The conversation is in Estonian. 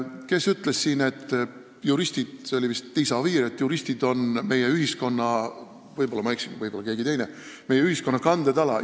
Kes ütles siin, et juristid – see oli vist Liisa Oviir – on meie ühiskonna – võib-olla ma eksin, võib-olla ütles keegi teine – on meie ühiskonna kandetala?